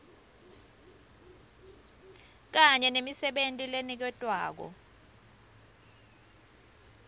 kanye nemisebenti leniketwako